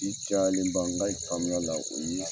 cayalen ba n ka faamuya la o ye.